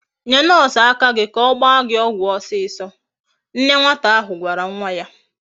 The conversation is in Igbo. Nye nurse aka gi ka ogba gi ogwu osiso. Nne nwatakari ahu gwara nwa ya